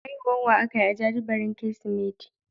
Haihuwar wa ake yi a jajibirin Kirsimeti?